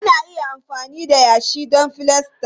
Ana iya amfani da yashi don filasta.